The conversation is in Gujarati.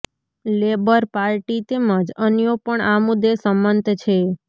લેબર પાર્ટી તેમજ અન્યો પણ આ મુદ્દે સંમત છે